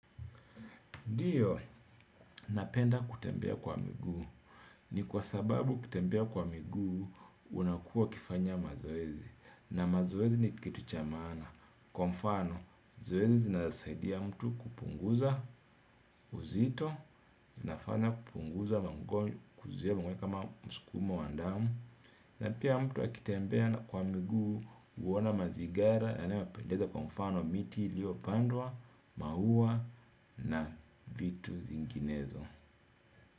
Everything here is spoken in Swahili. Ndio, napenda kutembea kwa miguu ni kwa sababu kutembea kwa miguu, unakuwa ukifanya mazoezi. Na mazoezi ni kitu cha maana. Kwa mfano zoezi linasaidia mtu kupunguza uzito zinafanya kupunguza mago mskumo wa damu na pia mtu akitembea na kwa miguu huona mazingara yanayo wapendeza kwa mfano miti ilio pandwa, maua na vitu zinginezo.